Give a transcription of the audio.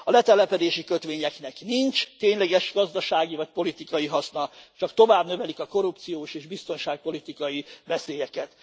A letelepedési kötvényeknek nincs tényleges gazdasági vagy politikai hasznuk, csak tovább növelik a korrupciós és biztonságpolitikai veszélyeket.